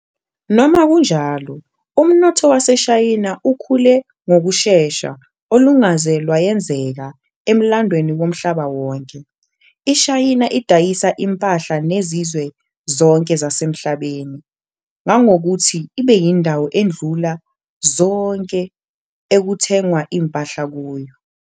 Noma kunjalo, umnotho waseShayina ukhule ngokushesha olungaze lwayenzeka emlandweni womhlaba wonke. IShayina idayisa impahla nezizwe zonke zasemhlabeni ngangokuthi ibeyindawo edlula zonke ekuthengwa impahla kuyo.